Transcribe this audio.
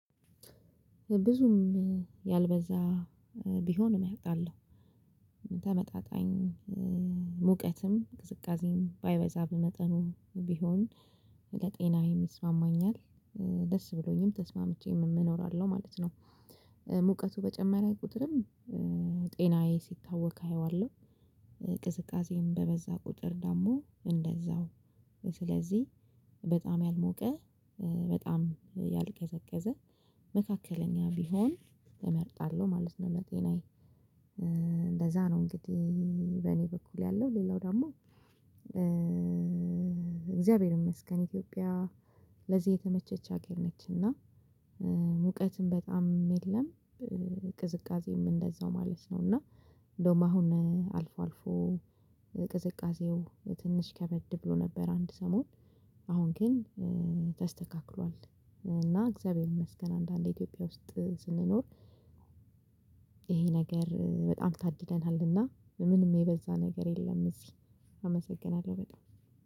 ብዙም ያልበዛ ቢሆንም አመርጣለሁ ተመጣጣኝ ሙቀትም ቅዝቃዜም ባይበዛብ መጠኑ ቢሆን ለጤናዬም ይስማማኛል ደስ ብሎኝም ተስማምቼም እኖራለሁ ማለት ነው። ሙቀቱ በጨመረ ቁጥርም ጤናዬ ሲታወክ አየዋለሁ። ቅዝቃዜም በበዛ ቁጥር ደግሞ እንደዛው። ስለዚህ በጣም ያልሞቀ በጣም ያልቀዘቀዘ መካከለኛ ቢሆን እመርጣለሁ ማለት ነው። ለጤናዬ እንደዛ ነው። እንግዲህ በእኔ በኩል ያለው ሌላው ደግሞ እግዚአብሔር ይመስገን ኢትዮጵያ ለዚህ የተመቸች ሀገር ነች። እና ሙቀትም በጣም የለም። ቅዝቃዜም እንደዛው ማለት ነው። እና እንደውም አሁን አልፎ አልፎ ቅዝቃዜው ትንሽ ከበድ ብሎ ነበር። አንድ ሰሞን አሁን ግን ተስተካክሏል። እና እግዚአብሔር ይመስገን አንዳንድ ኢትዮጵያ ውስጥ ስንኖር። ይሄ ነገር በጣም ታድለናልና ምንም የበዛ ነገር የለም። እዚህ አመሰግናለሁ በጣም